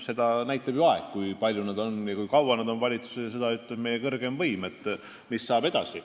Seda näitab ju aeg, kui kaua nad on valitsuses, ja seda ütleb meie kõrgeima võimu kandja, mis saab edasi.